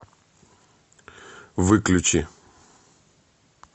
выключи